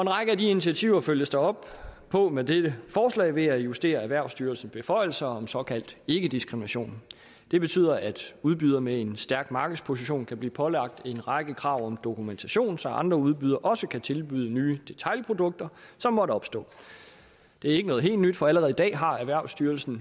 række af de initiativer følges der op på med dette forslag ved at justere erhvervsstyrelsens beføjelser om såkaldt ikkediskrimination det betyder at udbydere med en stærk markedsposition kan blive pålagt en række krav om dokumentation så andre udbydere også kan tilbyde nye detailprodukter som måtte opstå det er ikke noget helt nyt for allerede i dag har erhvervsstyrelsen